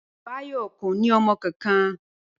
Báyò̩ kò ní o̩mo̩ kankan